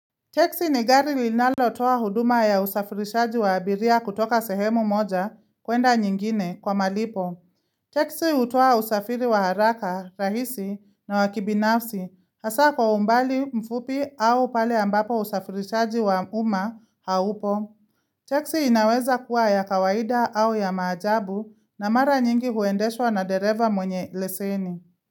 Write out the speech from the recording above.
Teksi ni gari linalo toa huduma ya usafirishaji wa abiria kutoka sehemu moja kuenda nyingine kwa malipo. Teksi utoa usafiri wa haraka rahisi na wakibinafsi hasa kwa umbali mfupi au pale ambapo usafirishaji wa uma haupo. Teksi inaweza kuwa ya kawaida au ya maajabu na mara nyingi huendeshwa na dereva mwenye leseni.